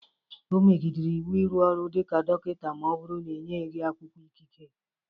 O megidere iwu ịrụ ọrụ dịka dọkịta ma ọ bụrụ na-enyeghị gi akwụkwọ ikike